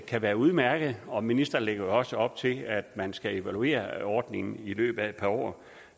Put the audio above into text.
kan være udmærkede og ministeren lægger jo også op til at man skal evaluere ordningen i løbet af et par år